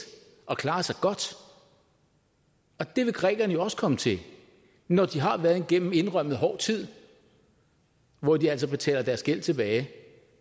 og klarer sig godt det vil grækerne også komme til når de har været igennem en indrømmet hård tid hvor de altså betaler deres gæld tilbage